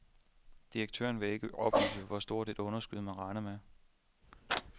Direktøren vil ikke oplyse, hvor stort et underskud, man regner med.